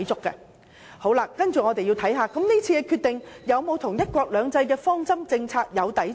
接下來，我們要看看這次的決定是否與"一國兩制"的方針政策相抵觸呢？